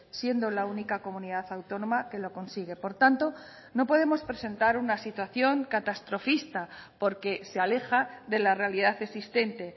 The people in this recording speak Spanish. siendo la única comunidad autónoma que lo consigue por tanto no podemos presentar una situación catastrofista porque se aleja de la realidad existente